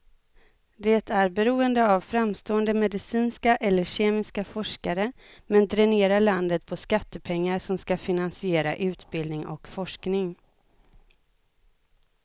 Det är beroende av framstående medicinska eller kemiska forskare, men dränerar landet på skattepengar som ska finansiera utbildning och forskning.